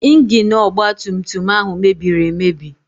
Ingini ọgba tum tum ahụ mebiri emebi.